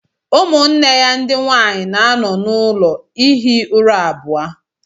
Ụmụnne ya ndị nwanyị na-anọ n'ụlọ ihi ụra abụọ